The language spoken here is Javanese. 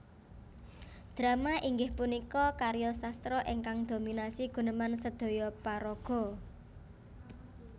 Drama inggih punika karya sastra ingkang dominasi guneman sedhoyo paraga